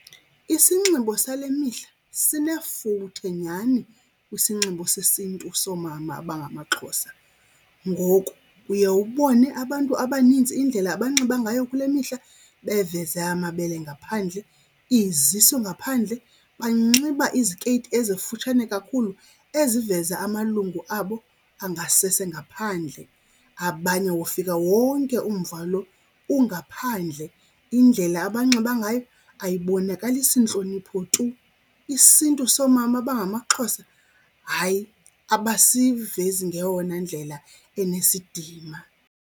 Isinxibo sale mihla sinefuthe nyhani kwisinxibo sesiNtu soomama abangamaXhosa. Ngoku uye ubone abantu abanintsi indlela abanxiba ngayo kule mihla beveze amabele ngaphandle, izisu ngaphandle, banxiba izikeyiti ezikufutshane kakhulu eziveza amalungu abo angasese ngaphandle. Abanye wofika wonke umva lo ungaphandle, indlela abanxiba ngayo ayibonakalisi ntlonipho tu. IsiNtu soomama abangamaXhosa, hayi abasivesi ngeyona ndlela enesidima.